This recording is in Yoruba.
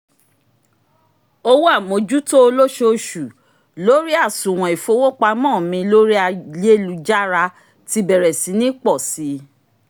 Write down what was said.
owó àmójútó olóṣooṣù lórí àsùnwọ̀n ìfowópamọ́ mi lórí ayélujára tí bẹ̀rẹ̀ sí ní pọ̀ si